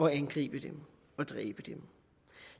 at angribe dem og dræbe dem